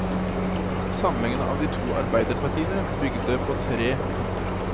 Samlingen av de to arbeiderpartiene bygde på tre punkter.